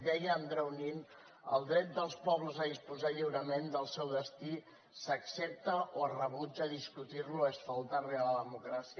deia andreu nin els drets dels pobles a disposar lliurement del seu destí s’accepta o es rebutja discutir lo es faltar a la democràcia